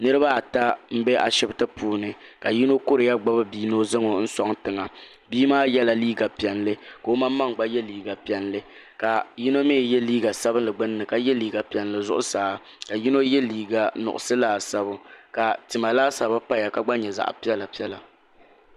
Niriba ata n bɛ ashibiti puuni ka yino kuriya ni o zaŋ bia suaŋ tiŋa bia maa ye la liiga piɛlli ka o maŋmaŋ gba ye liiga piɛlli ka yino mi ye liiga sabinli gbinni ka ye liiga piɛlli zuɣusaa ka yino ye liiga nuɣiso laasabu ka tima laasabu paya ka gba nyɛ zaɣi piɛlla piɛlla.